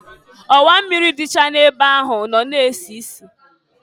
Ọwa mmịrị dịcha na-ebe ahụ nọ na-esisi.